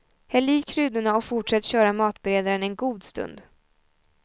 Häll i kryddorna och fortsätt köra matberedaren en god stund.